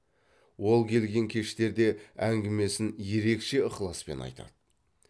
ол келген кештерде әңгімесін ерекше ықыласпен айтады